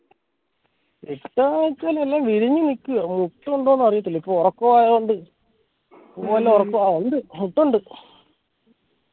കിട്ടുവോന്ന് ചോയ്ച്ചാൽ എല്ലാം വിരിഞ് നിൽക്കുവാ മൊട്ടു ഉണ്ടോന്ന് അറിയത്തില്ല ഇപ്പൊ ഒറക്കവായൊണ്ട് പൂവെല്ലാം ഒറക്കവാ ഇണ്ട് മൊട്ടുണ്ട്